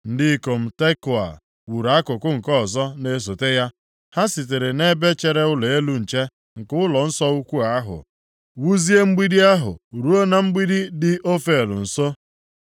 Ndị ikom Tekoa wuru akụkụ nke ọzọ na-esote ya. Ha sitere nʼebe chere ụlọ elu nche nke ụlọnsọ ukwu ahụ ihu, wuzie mgbidi ahụ ruo na mgbidi dị Ofel nso.